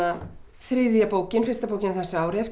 þriðja bókin fyrsta bókin á þessu ári eftir